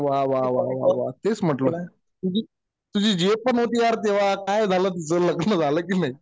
अरे वा वा. तेच म्हटलं. तुझी जी एफ पण होती यार तेव्हा. काय झालं तीच लग्न झालं कि नाही?